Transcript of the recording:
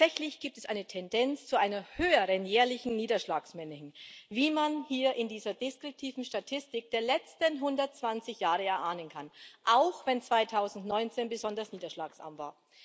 Tatsächlich gibt es eine Tendenz zu einer höheren jährlichen Niederschlagsmenge hin, wie man hier in dieser deskriptiven Statistik der letzten 120 Jahre erahnen kann, auch wenn 2019 besonders niederschlagsarm war.